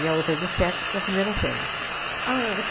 a outra de sete para a primeira série. Ah